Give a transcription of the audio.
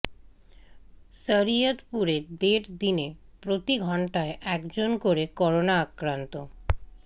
শরিয়তপুরে দেড় দিনে প্রতি ঘণ্টায় একজন করে করোনা আক্রান্ত